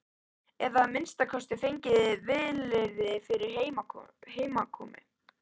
Eða að minnsta kosti fengið vilyrði fyrir heimkomu.